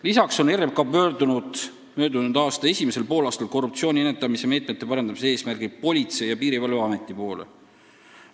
Lisaks pöördus RMK möödunud aasta esimesel poolaastal korruptsiooni ennetamise meetmete parandamise eesmärgil Politsei- ja Piirivalveameti poole.